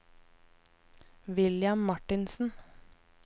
William Martinsen